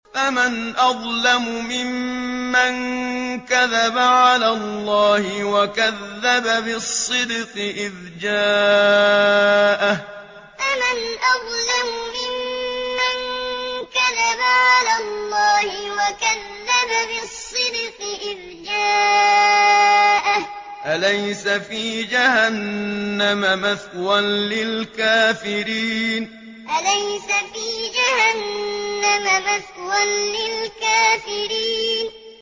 ۞ فَمَنْ أَظْلَمُ مِمَّن كَذَبَ عَلَى اللَّهِ وَكَذَّبَ بِالصِّدْقِ إِذْ جَاءَهُ ۚ أَلَيْسَ فِي جَهَنَّمَ مَثْوًى لِّلْكَافِرِينَ ۞ فَمَنْ أَظْلَمُ مِمَّن كَذَبَ عَلَى اللَّهِ وَكَذَّبَ بِالصِّدْقِ إِذْ جَاءَهُ ۚ أَلَيْسَ فِي جَهَنَّمَ مَثْوًى لِّلْكَافِرِينَ